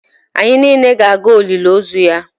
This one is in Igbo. Anyị niile ga-aga olili ozu ya